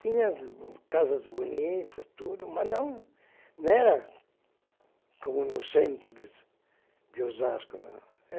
Tinha casas bonitas, tudo, mas não, não era como no centro de de Osasco.